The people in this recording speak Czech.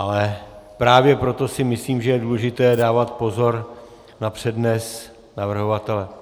Ale právě proto si myslím, že je důležité dávat pozor na přednes navrhovatele.